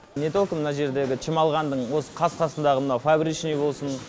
не только мына жердегі чемалғандың осы қас қасындағы мынау фабричный болсын